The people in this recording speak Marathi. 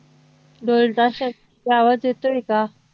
ढोल ताशांचा आवाज येतोय का